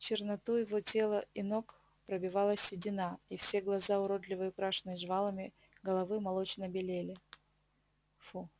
черноту его тела и ног пробивала седина и все глаза уродливой украшенной жвалами головы молочно белели